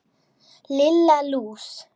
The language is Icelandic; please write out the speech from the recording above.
Lilla lús!